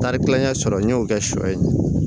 Tari kilancɛ sɔrɔ n y'o kɛ sɔ ye